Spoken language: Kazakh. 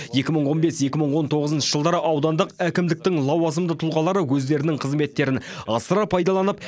екі мың он бес екі мың он тоғызыншы жылдары аудандық әкімдіктің лауазымды тұлғалары өздерінің қызметтерін асыра пайдаланып